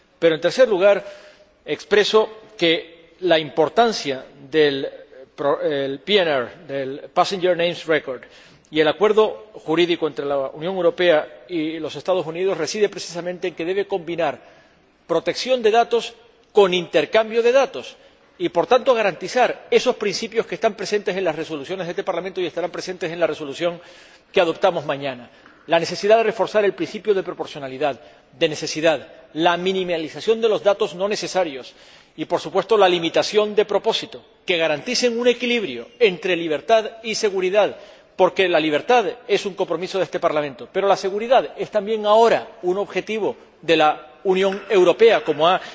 Pero, en tercer lugar, expreso que la importancia del Passenger Name Record y del acuerdo jurídico entre la Unión Europea y los Estados Unidos reside precisamente en que deben combinar protección de datos con intercambio de datos y, por tanto, garantizar esos principios que están presentes en las resoluciones de este Parlamento y estarán presentes en la resolución que aprobaremos mañana la necesidad de reforzar el principio de proporcionalidad y el de necesidad, la minimización de los datos no necesarios y, por supuesto, la limitación de propósito que garanticen un equilibrio entre libertad y seguridad, porque la libertad es un compromiso de este Parlamento. Pero la seguridad es también ahora un objetivo de la Unión Europea, como ha